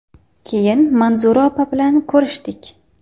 Keyin Manzura opa bilan ko‘rishdik.